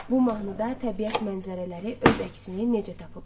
Bu mahnıda təbiət mənzərələri öz əksini necə tapıb?